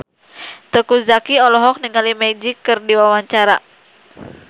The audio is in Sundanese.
Teuku Zacky olohok ningali Magic keur diwawancara